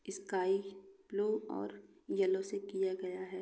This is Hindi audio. स्काई ब्लू और येलो से किया गया है।